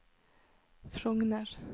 Frogner